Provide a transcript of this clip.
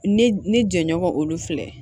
Ne ne jɛɲɔgɔn olu filɛ